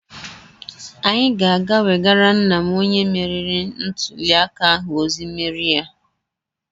Anyị ga-aga wegara nna m onye meriri ntuliaka ahụ ozi mmeri ya.